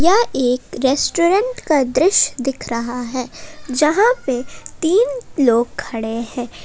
यह एक रेस्टोरेंट का दृश्य दिख रहा है जहां पर तीन लोग खड़े हैं।